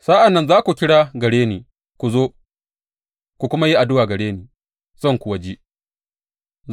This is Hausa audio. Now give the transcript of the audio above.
Sa’an nan za ku kira gare ni ku zo ku kuma yi addu’a gare ni, zan kuwa ji ku.